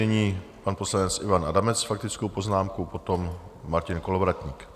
Nyní pan poslanec Ivan Adamec s faktickou poznámkou, potom Martin Kolovratník.